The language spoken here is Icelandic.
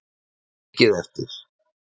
Ekki mikið eftir!